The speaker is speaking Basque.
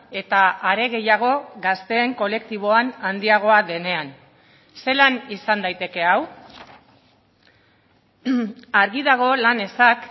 eta are gehiago gazteen kolektiboan handiagoa denean zelan izan daiteke hau argi dago lan ezak